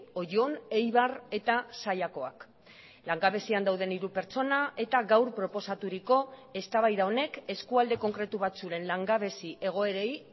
oion eibar eta zallakoak langabezian dauden hiru pertsona eta gaur proposaturiko eztabaida honek eskualde konkretu batzuen langabezi egoerei